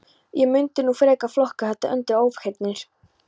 Ég mundi nú frekar flokka þetta undir ofheyrnir.